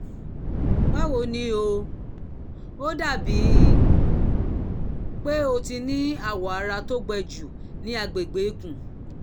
báwo ni o? ó dàbí pé o ti ní awọ ara tó gbẹ jù ní agbègbè ikùn